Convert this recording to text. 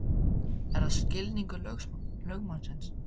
Er það skilningur lögmannsins?